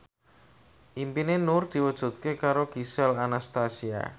impine Nur diwujudke karo Gisel Anastasia